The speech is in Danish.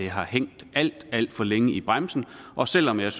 har hængt alt alt for længe i bremsen og selv om jeg